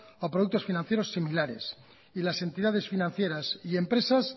o productos financieros similares y las entidades financieras y empresas